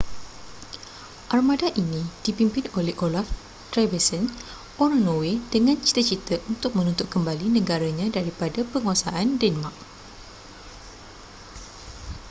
armada ini dipimpin oleh olaf trygvasson orang norway dengan cita-cita untuk menuntut kembali negaranya daripada penguasaan denmark